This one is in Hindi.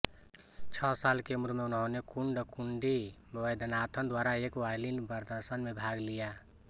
छह साल की उम्र में उन्होंने कुन्नकुंडी वैद्यनाथन द्वारा एक वायलिन प्रदर्शन में भाग लिया